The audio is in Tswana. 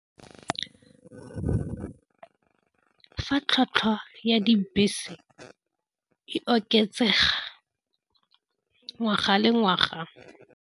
Fa tlhwatlhwa ya dibese e oketsega ngwaga le ngwaga.